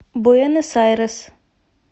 буэнос айрес